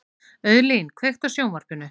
Auðlín, kveiktu á sjónvarpinu.